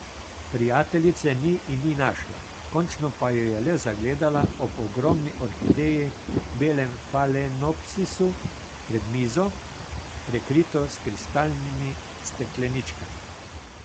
Prijateljice ni in ni našla, končno pa jo je le zagledala ob ogromni orhideji, belem falenopsisu pred mizo, prekrito s kristalnimi stekleničkami.